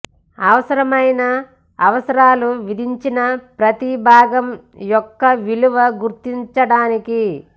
అవసరమైన అవసరాలు విధించిన ప్రతి భాగం యొక్క విలువ గుర్తించడానికి